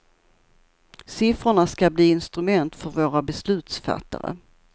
Siffrorna ska bli instrument för våra beslutsfattare.